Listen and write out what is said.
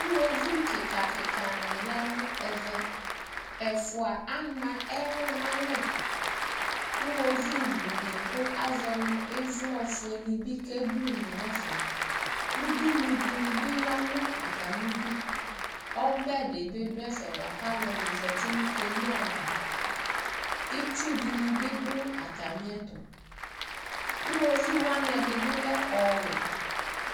Iɣoviu kɩka kɩkanɩ ya nʋ ɛvɛ Ɛfʋa ama ɛlʋ nʋ alɛ, iɣoviublune kʋ azɔ nʋ ɩvlɔ fuenɩ keblune nʋ ɛfɛ Udunu dɩnɩ bɩ ya nʋ atamɩ idu Ɔbɛ dɩ bɩ dʋ ɛfɛ bʋa kʋ alʋlʋ zati nʋ keno ava Itsu dɩnɩ bɩ dʋ atamɩ ɛtʋ, iɣoviu ɛdɩnɩ bɩ lɛ ɔɔwɛ